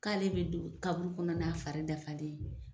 K'ale bɛ don kaburu kɔnɔ n'a fari dafalen ye.